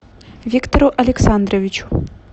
виктору александровичу